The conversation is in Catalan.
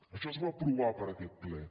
això es va aprovar per aquest ple